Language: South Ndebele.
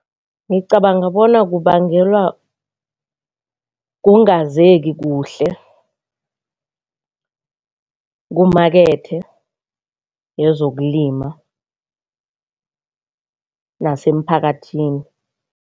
Ngicabanga bona kubangelwa kungazeki kuhle kumakethe yezokulima nasemphakathini.